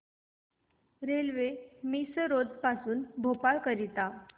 railway Misrod पासून भोपाळ करीता